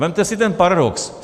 Vezměte si ten paradox.